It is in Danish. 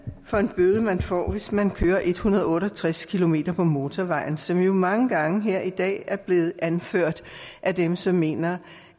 for en bøde man får hvis man kører en hundrede og otte og tres kilometer på motorvejen som jo mange gange her i dag er blevet anført af dem som mener